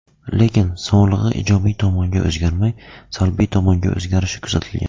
Lekin, sog‘lig‘i ijobiy tomonga o‘zgarmay, salbiy tomonga o‘zgarishi kuzatilgan.